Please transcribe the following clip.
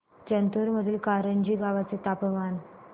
जिंतूर मधील करंजी गावाचे तापमान